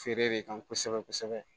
Feere de kan kosɛbɛ kosɛbɛ